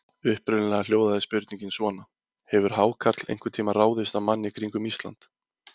Upprunalega hljóðaði spurningin svona: Hefur hákarl einhvern tíma ráðist mann í kringum Ísland?